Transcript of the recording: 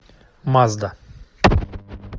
мазда